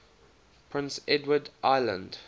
prince edward island